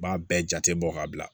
B'a bɛɛ jate bɔ ka bila